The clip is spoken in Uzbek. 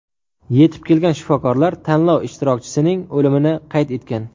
Yetib kelgan shifokorlar tanlov ishtirokchisining o‘limini qayd etgan.